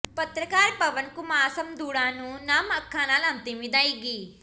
ਪੱਤਰਕਾਰ ਪਵਨ ਕੁਮਾਰ ਸਮੰੁਦੜਾ ਨੂੰ ਨਮ ਅੱਖਾਂ ਨਾਲ ਅੰਤਿਮ ਵਿਦਾਇਗੀ